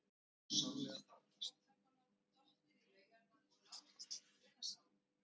Árið áður hafði þvottakona dottið í laugarnar og látist af brunasárum.